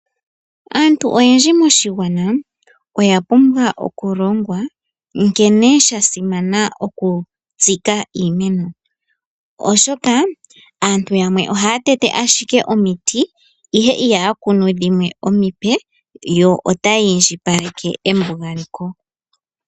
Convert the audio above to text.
Aantu oyendji moshigwana oya pumbwa oku longwa nkene sha simana oku tsika iimeno. Oshoka aantu yamwe ohaya tete ashike omiti ihe ihaya kunu dhimwe omipe. Yo otaya indjipaleke embugaleko.